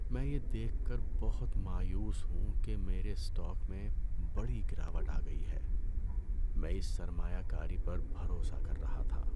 میں یہ دیکھ کر بہت مایوس ہوں کہ میرے اسٹاک میں بڑی گراوٹ آ گئی ہے۔ میں اس سرمایہ کاری پر بھروسہ کر رہا تھا۔